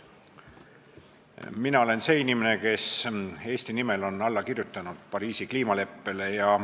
Mina olen see inimene, kes on Eesti nimel alla kirjutanud Pariisi kliimaleppele.